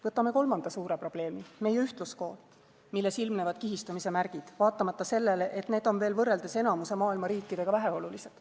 Võtame kolmanda suure probleemi: meie ühtluskool, milles ilmnevad kihistumise märgid, vaatamata sellele, et need on veel võrreldes enamiku maailma riikidega väheolulised.